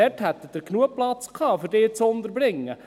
Dort hätten Sie genügend Platz gehabt, um diese unterzubringen.